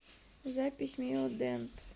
запись мио дент